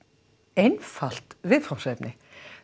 einfalt viðfangsefni